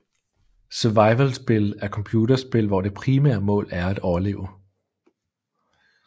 Survivalspil er computerspil hvor det primære mål er at overleve